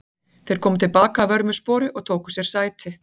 Þeir komu til baka að vörmu spori og tóku sér sæti.